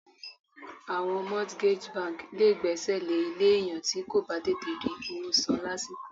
Àwọn mortgage bank lé gbèsè lè ilé èèyàn ti ko bà tètè rí owó san lásìkò.